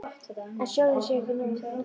En sjónin sé ekki nógu góð.